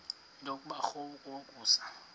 nto kubarrow yokusa